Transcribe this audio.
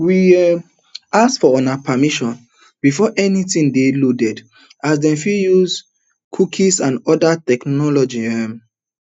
we um ask for una permission before anytin dey loaded as dem fit dey use cookies and oda technologies um